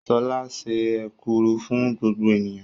Ṣọlá se èkuru fún gbogbo ènìyàn.